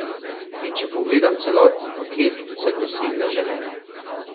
In če pogledam celoten paket, sem dosegla želeno.